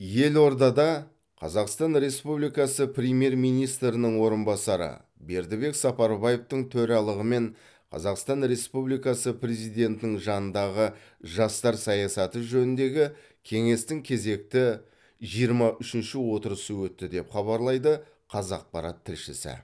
елордада қазақстан республикасы премьер министрінің орынбасары бердібек сапарбаевтың төралығымен қазақстан республикасы президентінің жанындағы жастар саясаты жөніндегі кеңестің кезекті жиырма үшінші отырысы өтті деп хабарлайды қазақпарат тілшісі